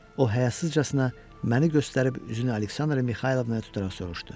O həyasızcasına məni göstərib üzünü Aleksandra Mixaylovnaya tutaraq soruşdu: